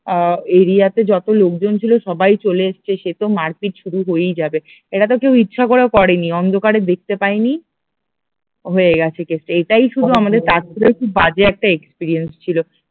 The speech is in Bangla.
আহ এরিয়া তে যত লোকজন ছিল সবাই চলে এসেছে সে তো মারপিট শুরু হয়েই যাবে এটা তো কেউ ইচ্ছা করে করেনি অন্ধকারে দেখতে পায়নি হয়ে গেছে কেসটা, এটাই শুধু আমাদের তাজপুরে খুব বাজে একটা এক্সপেরিয়েন্স ছিল